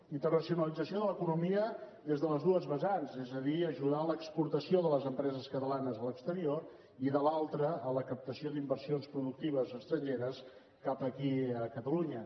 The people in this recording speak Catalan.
internacionalització de l’economia des de les dues vessants és a dir ajudar a l’exportació de les empreses catalanes a l’exterior i de l’altre a la captació d’inversions productives estrangeres cap aquí a catalunya